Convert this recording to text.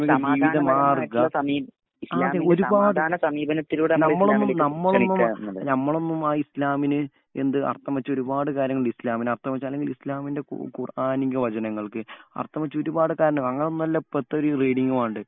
ഒരുപാട് നമ്മളൊന്നും നമ്മളൊന്നുമായി ഇസ്ലാമിന് അർഥം വച്ച് ഒരുപാട് കാര്യങ്ങളുണ്ട്. അർഥം വച്ച് ഇസ്ലാമിന്റെ ഖുർആനിക വചനങ്ങൾക്ക് അർഥം വച്ച് ഒരുപാട് കാരണങ്ങളുണ്ട്. അങ്ങനൊന്നും അല്ല ഇപ്പഴത്തെ ഒരു റീഡിംഗ് വാണ്ടത്.